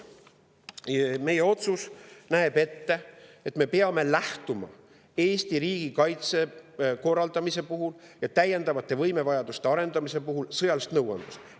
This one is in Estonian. Meie otsus näeb ette, et me peame lähtuma Eesti riigikaitse korraldamise ja täiendavate võimevajaduste arendamise puhul sõjalisest nõuandest.